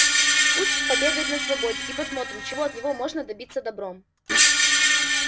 пусть побегает на свободе и посмотрим чего от него можно добиться добром